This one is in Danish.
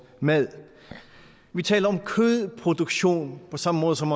mad vi taler om kødproduktion på samme måde som